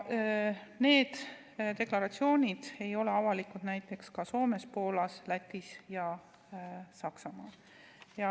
Need deklaratsioonid ei ole avalikud ka näiteks Soomes, Poolas, Lätis ega Saksamaal.